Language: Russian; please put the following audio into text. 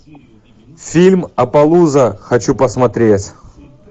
фильм аппалуза хочу посмотреть